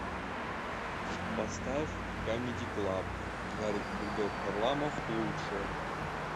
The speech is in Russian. поставь камеди клаб гарик бульдог харламов лучшее